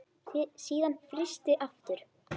Síðan frysti aftur.